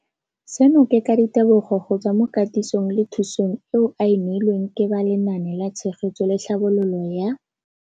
Seno ke ka ditebogo go tswa mo katisong le thu song eo a e neilweng ke ba Lenaane la Tshegetso le Tlhabololo ya.